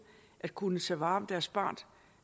at kunne tage vare på deres barns